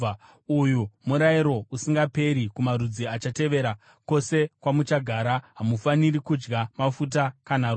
“ ‘Uyu murayiro usingaperi kumarudzi achatevera, kwose kwamuchagara: Hamufaniri kudya mafuta kana ropa.’ ”